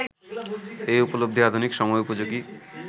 এই উপলব্ধি আধুনিক সময়োপযোগী